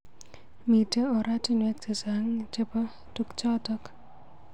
Mitei oratunwek chechang chebo tukjotok.